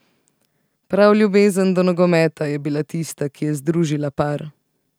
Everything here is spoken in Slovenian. Prav ljubezen do nogometa je bila tista, ki je združila par.